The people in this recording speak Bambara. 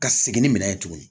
Ka segin ni minɛ ye tuguni